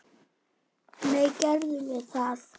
Nei, gerðum við það?